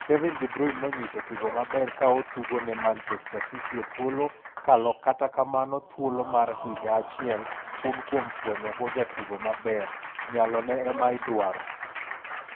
Kevin de Bruyne no nyiso tugo maber ka otugo ne Manchester City e thuolo mkaloKata, kamano thuolo mar higa achiel tun kuom fwenyogo jatugo maber, nyalone ema idwaro.